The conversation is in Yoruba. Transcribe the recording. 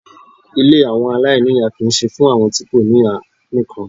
Ilé àwọn aláìníyà kì í ṣe fún àwọn tí kò ní ìyá nìkan.